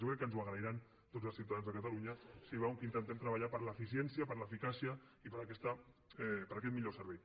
jo crec que ens ho agrairan tots els ciutadans de catalunya si veuen que intentem treballar per l’eficiència per l’eficàcia i per aquest millor servei